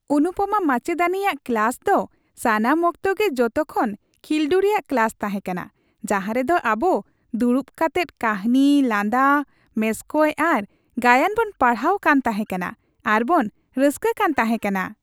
ᱚᱱᱩᱯᱟᱢᱟ ᱢᱟᱪᱮᱫᱟᱹᱱᱤᱭᱟᱜ ᱠᱞᱟᱥ ᱫᱚ ᱥᱟᱱᱟᱢ ᱚᱠᱛᱚ ᱜᱮ ᱡᱚᱛᱚ ᱠᱷᱚᱱ ᱠᱷᱤᱞᱰᱩ ᱨᱮᱭᱟᱜ ᱠᱞᱟᱥ ᱛᱟᱦᱮᱸᱠᱟᱱᱟ ᱡᱟᱦᱟ ᱨᱮᱫᱚ ᱟᱵᱩ ᱫᱩᱲᱩᱵ ᱠᱟᱛᱮᱫ ᱠᱟᱹᱦᱱᱤ, ᱞᱟᱸᱫᱟ ᱢᱮᱥᱠᱚᱡ ᱟᱨ ᱜᱟᱭᱟᱱ ᱵᱚᱱ ᱯᱟᱲᱦᱟᱣ ᱠᱟᱱ ᱛᱟᱦᱮᱠᱟᱱᱟ ᱟᱨ ᱵᱚᱱ ᱨᱟᱹᱥᱠᱟᱹ ᱠᱟᱱ ᱛᱟᱦᱮᱠᱟᱱᱟ ᱾